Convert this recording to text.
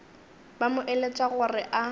ba mo eletša gore a